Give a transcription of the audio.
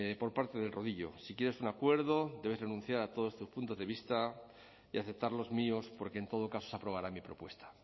por parte del rodillo si quieres un acuerdo debes renunciar a todos tus puntos de vista y aceptar los míos porque en todo caso se aprobará mi propuesta